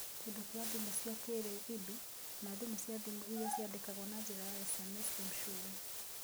Kĩndũ kĩa thimu cia kĩĩrĩu (EIDU), na thimũ cia thimu iria ciandĩkagwo na njĩra ya SMS (M-Shule).